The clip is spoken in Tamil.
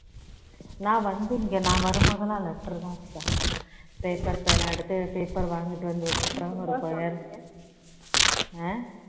நான் வந்து இங்க நான் வரும்போது எல்லாம் letter தான் சுதா paper பேனா எடுத்து paper வாங்கிட்டு வந்து வச்சிப்பேன் ஒரு ஆஹ்